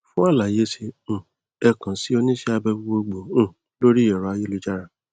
fún àlàyé sí um ẹ kàn sí oníṣẹ abẹ gbogboogbò um lórí ẹrọ ayélujára